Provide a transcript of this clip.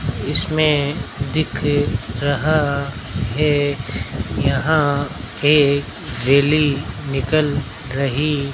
इसमें दिख रहा है यहां एक रैली निकाल रही --